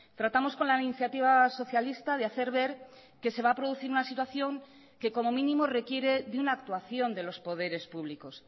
tratamos con la iniciativa socialista de hacer ver que se va a producir una situación que como mínimo requiere de una actuación de los poderes públicos